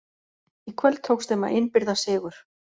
Í kvöld tókst þeim að innbyrða sigur.